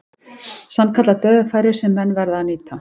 Sannkallað dauðafæri sem menn verða að nýta.